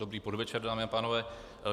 Dobrý podvečer, dámy a pánové.